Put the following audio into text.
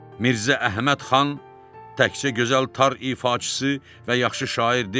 Mirzə Əhməd xan təkçə gözəl tar ifaçısı və yaxşı şair deyil.